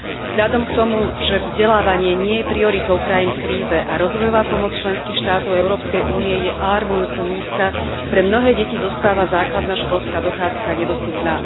Vzhľadom k tomu, že vzdelávanie nie je prioritou krajín v kríze a rozvojová pomoc členských štátov Európskej únie je alarmujúco nízka, pre mnohé deti zostáva základná školská dochádzka nedostupná.